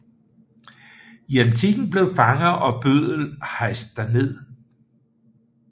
I antikken blev fanger og bøddel hejst derned